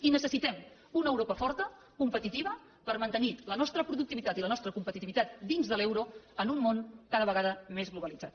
i necessitem una europa forta competitiva per mantenir la nostra productivitat i la nostra competitivitat dins de l’euro en un món cada vegada més globalitzat